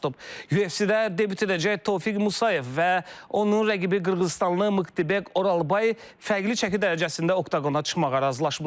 UFC-də debüt edəcək Tofiq Musayev və onun rəqibi Qırğızıstanlı Mıktıbek Oralbay fərqli çəki dərəcəsində Oqona çıxmağa razılaşıblar.